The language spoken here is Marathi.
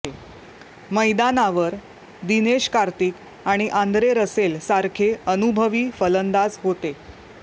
मैदानावर दिनेश कार्तिक आणि आंद्रे रसेल सारखे अनुभवी फलंदाज होते